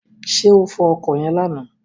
Ṣé o fọ ọkọ̀ yẹn lánàá?